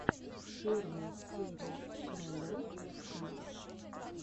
первая серия каролек к